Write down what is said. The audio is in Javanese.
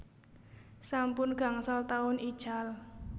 Sampun gangsal taun ical